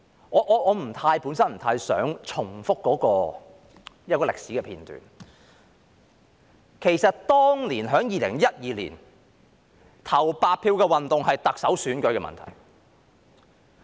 我本身不太想重複一個歷史片段，其實2012年當年投白票的運動是關乎特首選舉的。